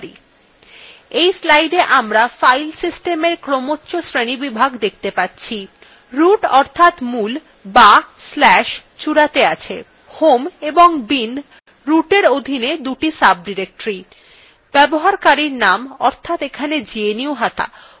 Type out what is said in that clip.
in slidea আমরা file সিস্টেমের ক্রমোচ্চ শ্রেণীবিভাগ দেখতে পাচ্ছি root অর্থাৎ মূল অথবা/চূড়াতে আছে home এবং binrootin অধীনে দুই সাবdirectory ব্যবহারকারীর named অর্থাৎ এখানে gnuhata homein অধীনে gnuhata named একটি সাবdirectory হিসাবে দেখা যাচ্ছে